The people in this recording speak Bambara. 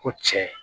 Ko cɛ